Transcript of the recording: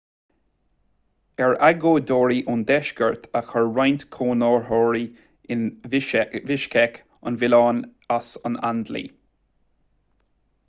ar agóideoirí ón deisceart a chuir roinnt cónaitheoirí in bishkek an milleán as an aindlí